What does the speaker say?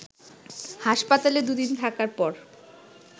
হাসপাতালে দুদিন থাকার পর